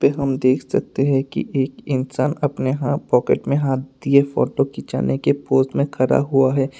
ये हम देख सकते है कि एक इंसान अपने हाथ पॉकेट में हाथ दिए फोटो खिंचाने के पोज में खड़ा हुआ है।